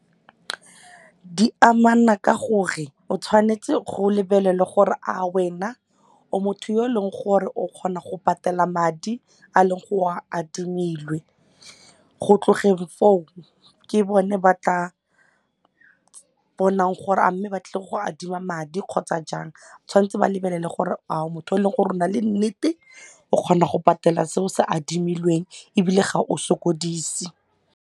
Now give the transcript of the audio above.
Di amana ka gore o tshwanetse go lebelele gore a wena o motho yo e leng gore o kgona go patela madi a leng o a adimile, go tlogeng foo ke bone ba tla bonang gore a mme ba tlile go adima madi kgotsa jang tshwanetse ba lebelele gore a motho o e leng gore a o motho yo e leng gore ao na le nnete o kgona go patela se o se adimilweng ebile ga o sokodise.